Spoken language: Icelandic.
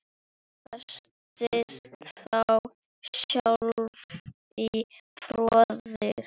Festist þá sjálf í fortíð.